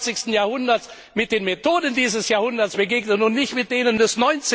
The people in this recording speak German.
21. Jahrhunderts mit den Methoden dieses Jahrhunderts begegnet und nicht mit denen des